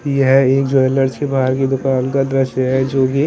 यह एक ज्वेलर्स के बाहर की दुकान का दृश्य है जो कि--